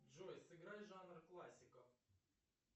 джой сыграй жанр классика